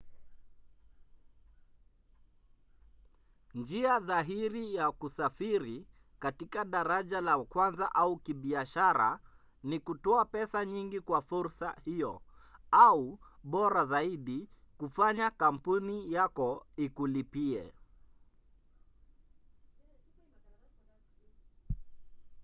njia dhahiri ya kusafiri katika daraja la kwanza au kibiashara ni kutoa pesa nyingi kwa fursa hiyo au bora zaidi kufanya kampuni yako ikulipie